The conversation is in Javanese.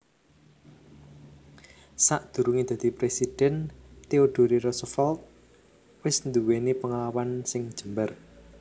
Sadurungé dadi presidhèn Theodore Roosevelt wis nduwèni pengalaman sing jembar